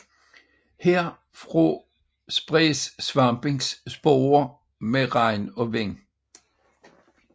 Herfra spredes svampens sporer med regn og vind